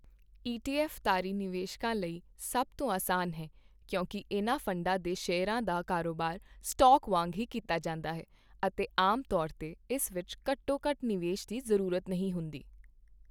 ETF ਤਾਰੀ ਨਿਵੇਸ਼ਕਾਂ ਲਈ ਸਭ ਤੋਂ ਅਸਾਨ ਹੈ ਕਿਉਂਕਿ ਇਨ੍ਹਾਂ ਫੰਡਾਂ ਦੇ ਸ਼ੇਅਰਾਂ ਦਾ ਕਾਰੋਬਾਰ ਸਟਾਕ ਵਾਂਗ ਹੀ ਕੀਤਾ ਜਾਂਦਾ ਹੈ ਅਤੇ ਆਮ ਤੌਰ 'ਤੇ ਇਸ ਵਿੱਚ ਘੱਟੋ ਘੱਟ ਨਿਵੇਸ਼ ਦੀ ਜ਼ਰੂਰਤ ਨਹੀਂ ਹੁੰਦੀ।